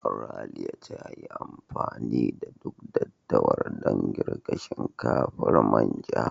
Raliya ta yi amfani da duk daddawar dan girka shinkafar manja.